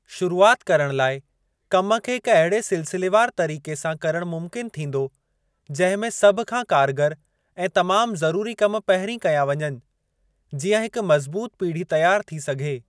शुरूआति करण लाइ कम खे हिक अहिड़े सिलसिलेवार तरीके सां करणु मुमकिन थींदो, जंहिं में सभ खां कारगर ऐं तमाम ज़रूरी कम पहिरीं कया वञनि, जीअं हिक मज़बूत पीढ़ी तयारु थी सघे।